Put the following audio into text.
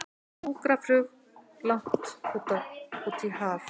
Sjúkraflug langt út í haf